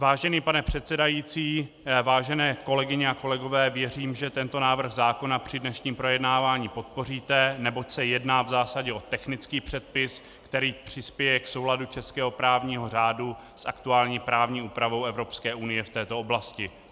Vážený pane předsedající, vážené kolegyně a kolegové, věřím, že tento návrh zákona při dnešním projednávání podpoříte, neboť se jedná v zásadě o technický předpis, který přispěje k souladu českého právního řádu s aktuální právní úpravou Evropské unie v této oblasti.